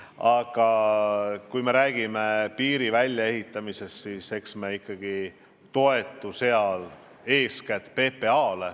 Aga kui me räägime piiri väljaehitamise maksumusest, siis eks me ikkagi toetu eeskätt PPA-le.